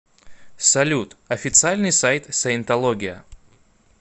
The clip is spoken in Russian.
салют официальный сайт саентология